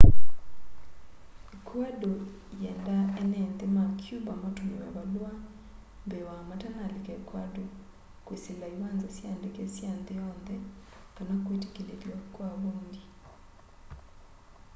ecuador yienda eene nthi ma cuba matumiwe valua mbee wa matanalika ecuador kwisila iwanza sya ndeke sya nthi yonthe kana kwitikilithwa kwa voindi